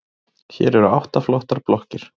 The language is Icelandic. Hér eru átta flottar blokkir.